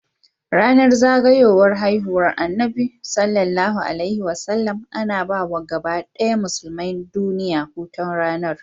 Yanar zagayowar haihuwar annabi SAW ana bawa gabadaya musulmai duniya hutun ranar